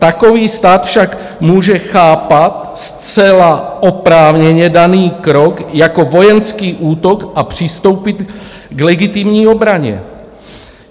Takový stát však může chápat zcela oprávněně daný krok jako vojenský útok a přistoupit k legitimní obraně.